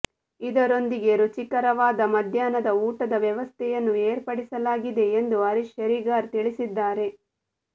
ಇದರೊಂದಿಗೆ ರುಚಿಕರವಾದ ಮಧ್ಯಾಹ್ನದ ಊಟದ ವ್ಯವಸ್ಥೆಯನ್ನು ಏರ್ಪಡಿಸಲಾಗಿದೆ ಎಂದು ಹರೀಶ್ ಶೇರಿಗಾರ್ ತಿಳಿಸಿದ್ದಾರೆ